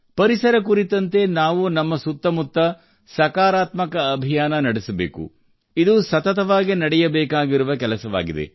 ಪರಿಸರ ಕುರಿತಂತೆ ನಾವು ನಮ್ಮ ಸುತ್ತ ಮುತ್ತ ಸಕಾರಾತ್ಮಕ ಅಭಿಯಾನ ನಡೆಸಬೇಕು ಇದು ಸತತವಾಗಿ ನಡೆಯಬೇಕಾಗಿರುವ ಕೆಲಸವಾಗಿದೆ